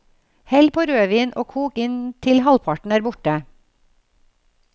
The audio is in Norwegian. Hell på rødvin og kok inn til halvparten er borte.